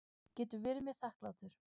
Getur verið mér þakklátur.